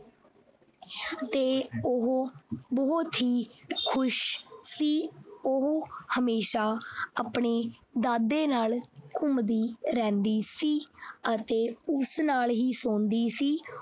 ਤੇ ਉਹ ਬਹੁਤ ਹੀ ਖੁਸ਼ ਸੀ ਉਹ ਹਮੇਸ਼ਾ ਆਪਣੇ ਦਾਦੇ ਨਾਲ ਘੁੰਮਦੀ ਰਹਿੰਦੀ ਸੀ ਅਤੇ ਉਸ ਨਾਲ ਹੀ ਸੋਂਦੀ ਸੀ।